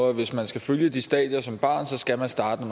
at hvis man skal følge de stadier som barn så skal man starte